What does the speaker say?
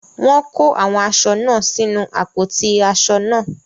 Wọ́n kó àwọn aṣọ náà sínu àpótí aṣọ náà.